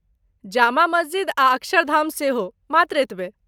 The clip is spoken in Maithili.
जामा मस्जिद आ अक्षरधाम सेहो , मात्र एतबे।